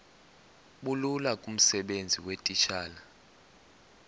bulula kumsebenzi weetitshala